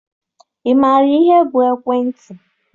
Ị maara ihe bụ ekwentị?